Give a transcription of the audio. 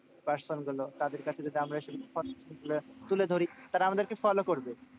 Person গুলো। তাদের কাছে যদি আমরা তুলে ধরি তারা আমাদের কে follow করবে।